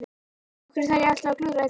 Af hverju þarf ég alltaf að klúðra öllu?